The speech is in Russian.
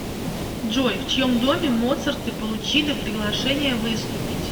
джой в чьем доме моцарты получили приглашение выступить